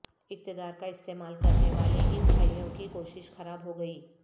اقتدار کا استعمال کرنے والے ان بھائیوں کی کوشش خراب ہوگئی